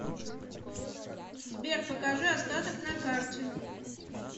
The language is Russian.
сбер покажи остаток на карте